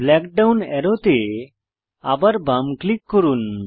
black down অ্যারোতে আবার বাম ক্লিক করুন